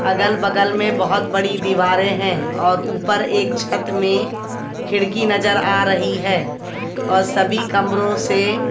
अगल बगल में बहुत बड़ी दीवारें हैं और ऊपर एक छत में खिड़की नजर आ रही है और सभी कमरों से--